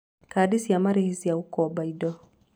Kadi cia marĩhi cia gũkomba indo: